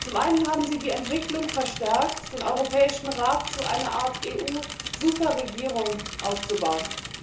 Zum einen haben Sie die Entwicklung verstärkt, den Europäischen Rat zu einer Art EU Superregierung auszubauen.